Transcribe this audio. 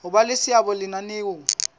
ho ba le seabo lenaneong